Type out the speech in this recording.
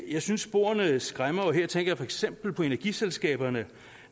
jeg synes sporene skræmmer her tænker jeg for eksempel på energiselskaberne